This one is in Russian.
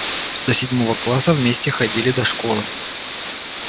до седьмого класса вместе ходили до школы